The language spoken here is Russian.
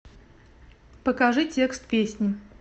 покажи текст песни